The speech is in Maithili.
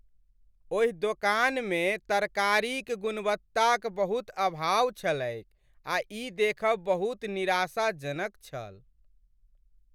ओहि दोकान मे तरकारी क गुणवत्ता क बहुत अभाव छलैक आ ई देखब बहुत निराशा जनक छल।